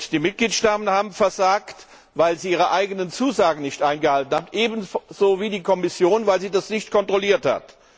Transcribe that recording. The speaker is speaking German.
Die Mitgliedstaaten haben versagt, weil sie ihre eigenen Zusagen nicht eingehalten haben, ebenso wie die Kommission, weil sie das nicht kontrolliert hat.